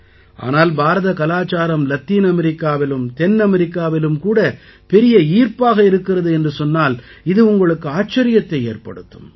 ஆனால் பாரத கலாச்சாரம் லத்தீன் அமெரிக்காவிலும் தென் அமெரிக்காவிலும் கூட பெரிய ஈர்ப்பாக இருக்கிறது என்று சொன்னால் இது உங்களுக்கு ஆச்சரியத்தை ஏற்படுத்தும்